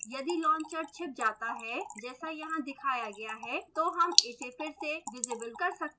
यदि launcher छिप जाता है जैसा यहाँ दिखाया गया है तो हम इसे फिर से visible कर सकते हैं